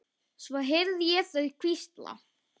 Svo heyrði ég þau hvísla.